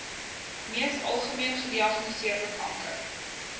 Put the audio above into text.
mees algemeengediagnoseerde kanker